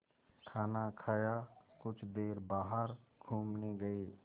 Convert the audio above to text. खाना खाया कुछ देर बाहर घूमने गए